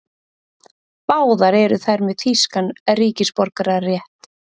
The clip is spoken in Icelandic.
Báðar eru þær með þýskan ríkisborgararétt